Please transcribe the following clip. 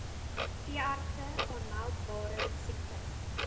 veeartse aanmeldbare siektes